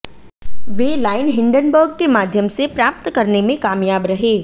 वे line Hindenburg के माध्यम से प्राप्त करने में कामयाब रहे